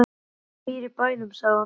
Hún býr í bænum, sagði hann lágt.